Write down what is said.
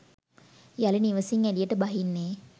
යළි නිවෙසින් එළියට බහින්නේ